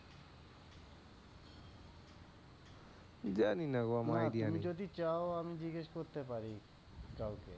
জানি না গো আমার idea নেই। না তুমি যদি চাও আমি জিজ্ঞেস করতে পারি কাওকে।